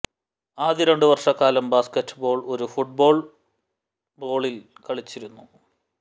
ആദ്യ രണ്ട് വർഷക്കാലം ബാസ്കറ്റ് ബോൾ ഒരു ഫുട്ബോൾ ബോളിൽ കളിച്ചിരുന്നു